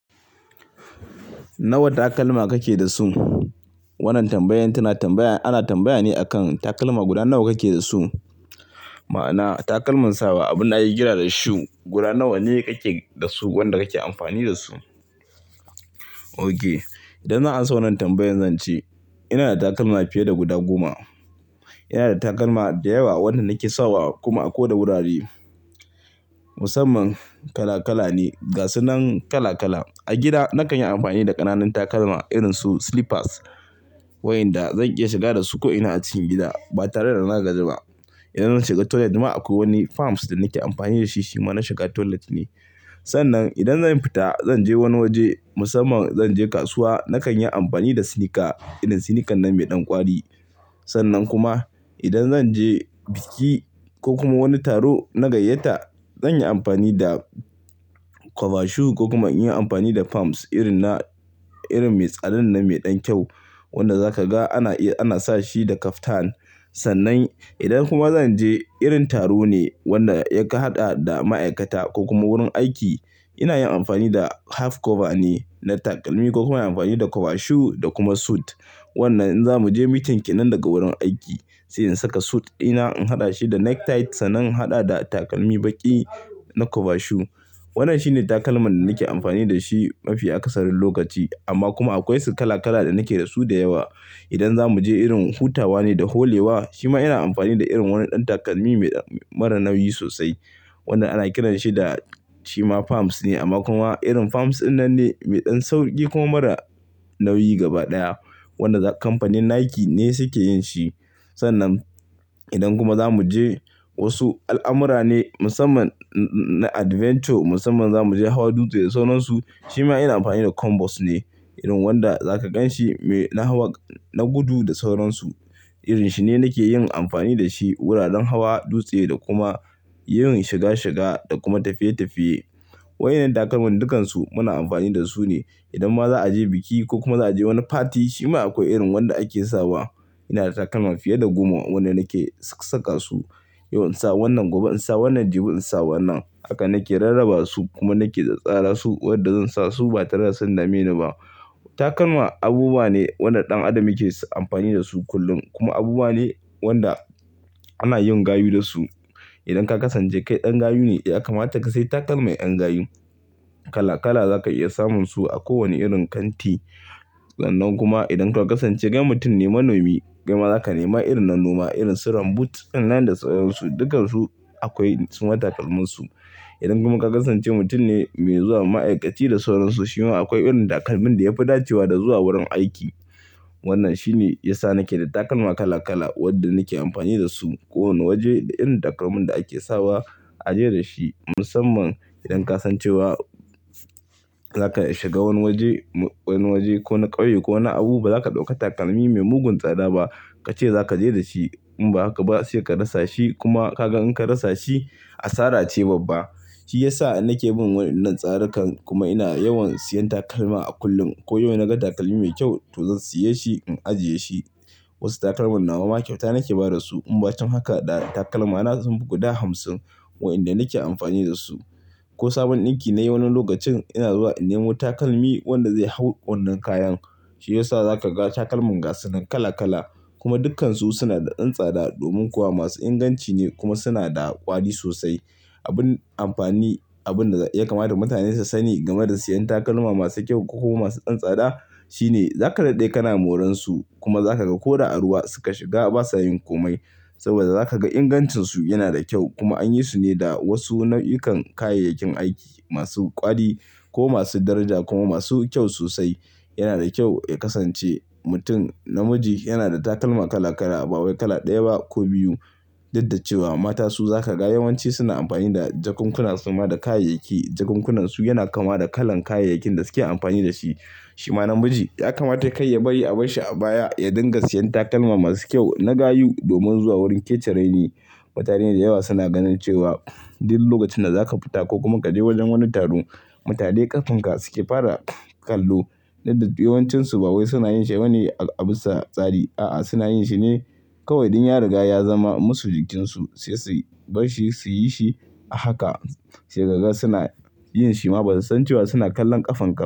Nawa takalma kake da su? Wannan tambayan tana tambaya, ana tambayane akan takalma guda nawa kake da su. Ma'ana takalman sawa, abin da ake kira da shoe guda nawa ne kake da su, wanda kake amfani da su. OK, idan za'an amsa wannan tambayan zan ce ina da takalma fiye da guda goma. Ina da takalma da yawa wanda nake sawa kuma ako da wurare musamman kala kala ne, gasu nan kala kala. A gida nakan yi amfani da ƙananan takalma irinsu slippers, wayanda zan iya shiga da su ko'ina a cikin gida ba tare da na gaji ba. Idan zan shiga toilet ma akwai wani palmps da nake amfani da shi shima na shiga toilet ne. Sannan idan zan fita, zan je wani waje musamman zan je kasuwa, nakan yi amfani da sneaker, irin sneaker nan mai ɗan kwari. Sannan kuma idan zan je biki ko kuma wani taro na gayyata, zan yi amfani da kwaba shu ko kuma in yi amfani da palms irin na, irin mai tsadan nan mai ɗan kyau wanda zaka ga ana iya, ana sa shi da kaftan. Sannan idan kuma zan je irin taro ne wanda ya ka hada da ma'aikata ko kuma wurin aiki, ina yin amfani da half cover ne na takalmi ko kuma inyi amfani da kwaba shu da kuma suit. Wannan in zamu je meeting kenan daga wurin aiki, sai in saka suit ɗina in haɗa shi da necktie sannan in haɗa da takalmi baƙi na kwaba shu. Wannan shine takalman da nake amfani da shi mafi akasarin lokaci amma kuma akwai su kala kala da nake da su da yawa. Idan za mu je irin hutawa ne da holewa, shima ina amfani da irin wani ɗan takalmi mai, mara nauyi sosai wanda ana kiranshi da shima palms ne amma kuma irin palms ɗinnan ne mai ɗan sauƙi kuma mara nauyi gaba ɗaya wanda kamfanin Nike ne suke yin shi. Sannan idan kuma za mu je wasu al'amura ne musamman na adventure, musamman za mu je hawa dutse da sauran su, shima ina amfani da combos ne irin wanda za ka gan shi mai, na hawa, na gudu da sauransu. Irin shi ne nake yin amfani da shi wuraren hawa dutse da kuma yawan shiga shiga da kuma tafiye tafiye-tafiye. Waɗannan takalman dukkansu muna amfani da su ne. Idan ma za a je biki ko kuma za a je wani party, shima akwai irin wanda ake sawa. Ina da takalma fiye da goma wanda nake saka su. Yau in sa wannan, gobe in sa wannan, jibi in sa wannan. Haka nake rarraba su kuma nake tsara su wadda zan sa su ba tare da sun dame ni ba. Takalma abubuwa ne wanda ɗan adam yake amfani da su kullum kuma abubuwa ne wanda ana yin gayu da su. Idan ka kasance kai ɗan gayu ne, ya kamata ka sai takalmi ƴan gayu. Kala kala za ka iya samun su a kowane irin kanti. Sannan kuma idan ka kasance kai mutum ne manomi, kai ma za ka nema irin na noma irin su boot dinnan da sauran su. Dukansu akwai su ma takalminsu. Idan kuma ka kasance mutum ne me zuwa ma'aikaci da sauransu, shima akwai irin takalmin da ya fi dacewa da zuwa wurin aiki. Wannan shi ne yasa nake da takalma kala kala wadda nake amfani da su ko wane waje da irin takalmin da ake sawa a je da shi musamman idan ka san cewa za ka shiga wani waje, wani waje ko na ƙauye ko na abu ba za ka ɗauka takalmi mai mugun tsada ba kace za ka je da shi in ba haka ba sai ka rasa shi kuma ka gan in ka rasa shi asara ce babba. Shi ya sa nake bin wannan tsarikan kuma ina yawan siyan takalma a kullum. Ko yau na ga takalmi mai kyau to zan siya shi in ajiye shi. Wasu takalman nawa ma kyauta nake ba da su in ba cikin haka ɗa takalma na sun fi guda hamsin waɗanda nake amfani da su. Ko sabon ɗinki nayi wani lokacin ina zuwa in nemo takalmi wanda zai hau wannan kayan. Shi ya sa za ka ga takalman gasu nan kala kala kuma dukkansu suna da ɗan tsada domin kuwa masu inganci ne kuma suna da ƙwari sosai. Abin amfani, abin da ya kamata mutane su sani game da siyan takalma masu kyau ko kuma masu ɗan tsada shine za ka daɗe kana moran su kuma za ka ga ko da a ruwa suka shiga ba sa yin komai saboda za ka ga ingancinsu yana da kyau kuma anyi su ne da wasu nau'ikan kayayyakin aiki masu ƙwari ko masu daraja kuma masu kyau sosai. Yana da kyau ya kasance mutum namiji yana da takalma kala kala a ba wai kala ɗaya ba ko biyu. Duk da cewa mata su za ka ga yawanci suna amfani da jakunkuna su ma da kayayyaki. Jakunkunan su yana kama da kalan kayayyakin da suke amfani da shi. Shima namiji ya kamata kar ya bari a bar shi a baya ya dinga siyan takalma masu kyau na gayu domin zuwa wurin kece rai ni. Mutane da yawa suna ganin cewa duk lokacin da za ka fita ko kuma ka je wajen wani taro, mutane ƙafanka suke fara kallo. Duk da yawancinsu ba wai suna yin shi bane abisa tsari. A'a, suna yin shine kawai dan ya riga ya zama masu jikinsu sai su bar shi su yi shi a haka sai kaga suna yin shi ma ba su san cewa suna kallon ƙafanka.